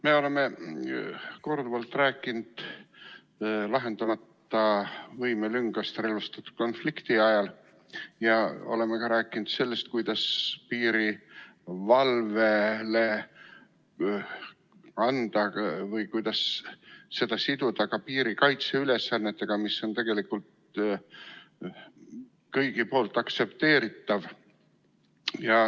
Me oleme korduvalt rääkinud lahendamata võimelüngast relvastatud konflikti ajal ja oleme rääkinud ka sellest, kuidas piirivalvet siduda piirikaitse ülesannetega, mis on tegelikult kõigi poolt aktsepteeritav.